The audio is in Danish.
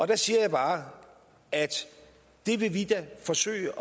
der siger jeg bare at det vil vi da forsøge